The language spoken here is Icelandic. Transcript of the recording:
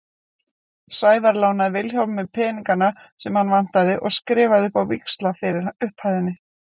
Sævar lánaði Vilhjálmi peningana sem hann vantaði og hann skrifaði upp á víxla fyrir upphæðinni.